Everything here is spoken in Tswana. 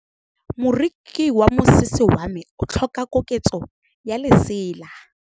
Moroki wa mosese wa me o tlhoka koketsô ya lesela.